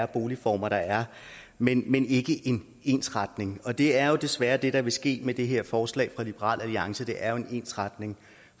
boligformer der er men men ikke en ensretning og det er jo desværre det der vil ske med det her forslag fra liberal alliance det er jo en ensretning